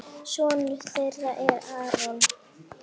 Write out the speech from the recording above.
Sonur þeirra er Aron.